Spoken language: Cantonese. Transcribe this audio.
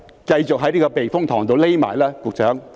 繼續在這個避風塘躲起來吧，局長。